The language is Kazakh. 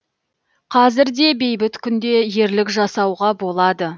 қазір де бейбіт күнде ерлік жасауға болады